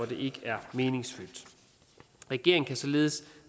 det ikke er meningsfyldt regeringen kan således